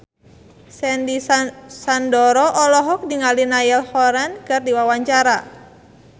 Sandy Sandoro olohok ningali Niall Horran keur diwawancara